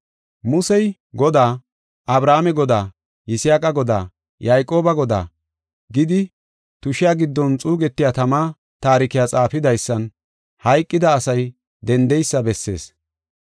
Musey Godaa, ‘Abrahaame Godaa, Yisaaqa Godaa, Yayqooba Godaa’ gidi tushiya giddon xuugetiya tama taarikiya xaafidaysan hayqida asay dendeysa bessees.